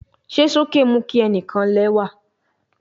Ṣe soke mu ki ẹnikan lẹwa